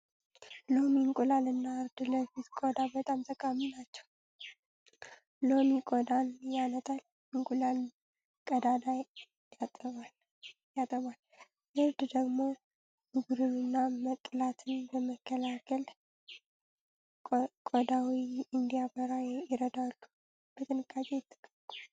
ሎሚ፣ እንቁላል እና እርድ ለፊት ቆዳ በጣም ጠቃሚ ናቸው። ሎሚ ቆዳን ያነጣል፣ እንቁላል ቀዳዳ ያጠባል፣ እርድ ደግሞ ብጉርንና መቅላትን በመከላከል ቆዳዎ እንዲያበራ ይረዳሉ። በጥንቃቄ ይጠቀሙ።